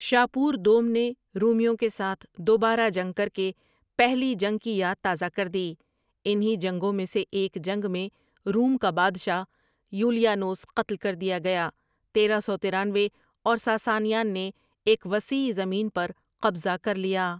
شاپوردوم نے رومیوں کے ساتھ دوبارہ جنگ کرکے پہلی جنگ کی یاد تازہ کردی، انہی جنگوں میں سے ایک جنگ میں روم کا بادشاہ یولیانوس قتل کردیا گیا تیرہ سو ترانوے اور ساسانیان نے ایک وسیع زمین پرقبضہ کرلیا۔